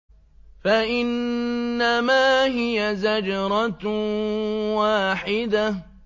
فَإِنَّمَا هِيَ زَجْرَةٌ وَاحِدَةٌ